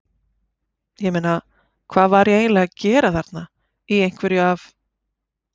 ég meina, hvað var ég eiginlega að gera þarna, í einhverju af